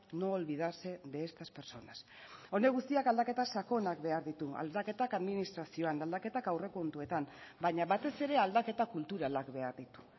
no olvidarse de estas personas honek guztiak aldaketa sakonak behar ditu aldaketak administrazioan aldaketak aurrekontuetan baina batez ere aldaketa kulturalak behar ditu